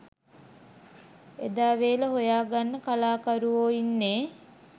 එදා වේල හොයා ගන්න කලාකරුවෝ ඉන්නේ.